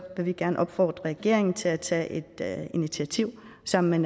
vi gerne opfordre regeringen til at tage et initiativ sammen med